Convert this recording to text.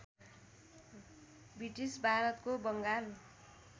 British भारतको बङ्गाल